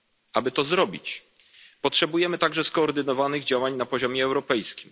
Aby to zrobić, potrzebujemy także skoordynowanych działań na poziomie europejskim.